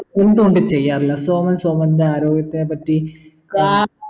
എന്തു കൊണ്ട് ചെയ്യാറില്ല സോമൻ സോമൻ്റെ ആരോഗ്യത്തിനെ പറ്റി